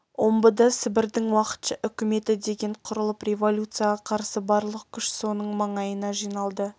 омбыда сібірдің уақытша үкіметі деген құрылып революцияға қарсы барлық күш соның маңайына жиналды